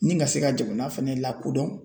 Ni ka se ka jamana fɛnɛ lakodɔn